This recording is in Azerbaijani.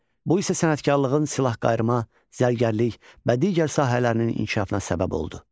Bu isə sənətkarlığın silahqayırma, zərgərlik və digər sahələrinin inkişafına səbəb oldu.